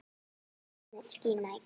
Gæðin skína í gegn.